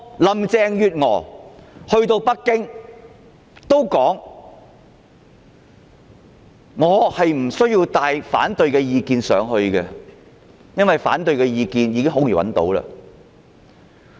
林鄭月娥前往北京時，說她不需要帶同反對意見，因為反對意見很容易便能找到。